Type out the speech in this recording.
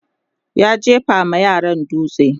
ya jefa ma yaran dutse